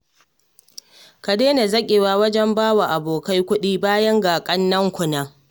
Ku daina zaƙewa wajen ba wa abokai kuɗi, bayan ga ƙannenku nan